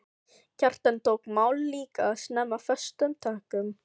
Kjartan tók málið líka snemma föstum tökum.